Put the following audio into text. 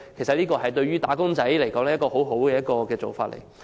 這對於"打工仔"來說，是很好的做法。